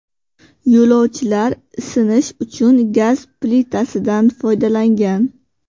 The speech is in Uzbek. Yo‘lovchilar isinish uchun gaz plitasidan foydalangan.